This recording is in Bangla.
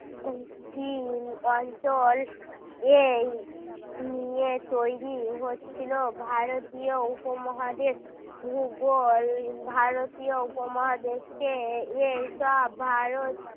দক্ষিণ অঞ্চল এই নিয়ে তৈরি হচ্ছিল ভারতীয় উপমহাদেশ ভূগোল ভারতীয় উপমহাদেশকে এইসব ভারত